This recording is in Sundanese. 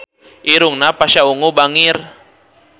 Irungna Pasha Ungu bangir